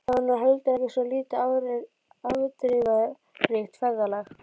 Það var nú heldur ekki svo lítið afdrifaríkt ferðalag.